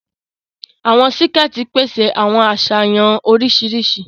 Awọn síkẹ̀ẹ̀tì pèsè àwọn aṣayanw oríṣiríṣi.